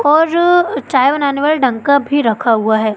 और चाय बनाने वाली ढंका का भी रखा हुआ है।